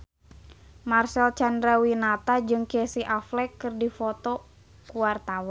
Marcel Chandrawinata jeung Casey Affleck keur dipoto ku wartawan